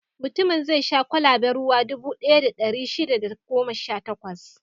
Mutumin zai sha kwalaben ruwa dubu ɗaya da ɗari shida da goma sha takwas.